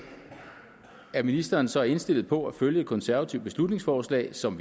er ministeren så indstillet på at følge et konservativt beslutningsforslag som